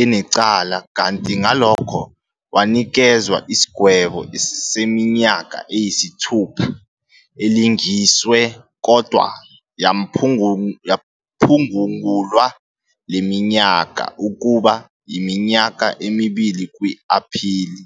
enecala, kanti ngalokho wanikezwa isigwebo seminyaka eyisithupha elingisiwe kodwa yaphgungulwa leminyaka ukuba yiminyaka emibili kwi-aphili.